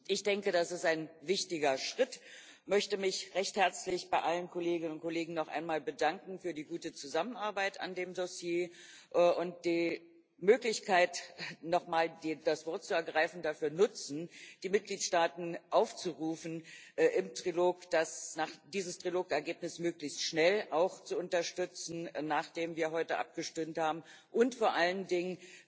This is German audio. Ich denke, das ist ein wichtiger Schritt, und möchte mich recht herzlich bei allen Kolleginnen und Kollegen noch einmal für die gute Zusammenarbeit an dem Dossier bedanken und die Möglichkeit, noch mal das Wort zu ergreifen, dafür nutzen, die Mitgliedstaaten aufzurufen, dieses Trilog Ergebnis auch möglichst schnell zu unterstützen, nachdem wir heute abgestimmt haben, und vor allen Dingen